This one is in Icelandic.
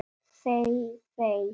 Þey þey!